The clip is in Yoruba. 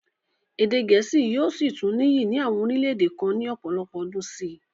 Èdè gẹ̀ẹ́sì yóò sì tún níyì ní àwọn orílẹ-èdè kan ní ọ̀pọ̀lọpọ̀ ọdún sí i.